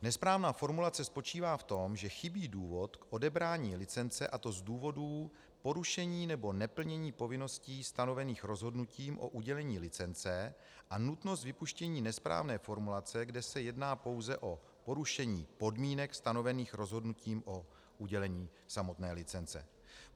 Nesprávná formulace spočívá v tom, že chybí důvod k odebrání licence, a to z důvodu porušení nebo neplnění povinností stanovených rozhodnutím o udělení licence a nutnost vypuštění nesprávné formulace, kde se jedná pouze o porušení podmínek stanovených rozhodnutím o udělení samotné licence.